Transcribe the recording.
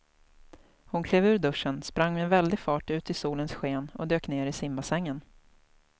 Hon klev ur duschen, sprang med väldig fart ut i solens sken och dök ner i simbassängen.